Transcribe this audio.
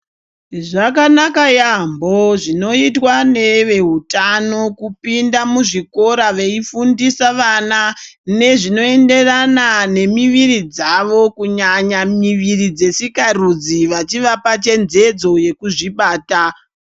Zvakanaka yamho zvinoitwa neveutano kupinda muzvikora veifundisa vana nezvinoenderana nemuviri dzavo kunyanya muviri dzesikarudzi vachivapa chenjedze yekuzvibata.